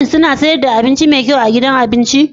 Shin suna sayar da abinci mai kyau a gidan abinci?